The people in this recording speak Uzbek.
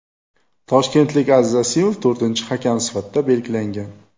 Toshkentlik Aziz Asimov to‘rtinchi hakam sifatida belgilangan.